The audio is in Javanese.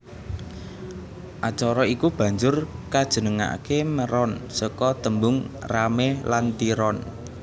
Acara iku banjur kajenengake Meron saka tembung rame lan tiron